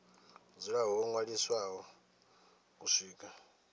dzula ho ṅwaliswa u swika